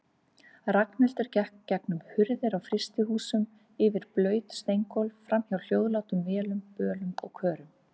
Ragnhildur gekk gegnum hurðir á frystihúsum, yfir blaut steingólf, framhjá hljóðlátum vélum, bölum og körum.